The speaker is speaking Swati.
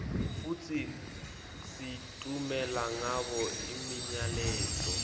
futsi sitfumela ngabo imiyaleto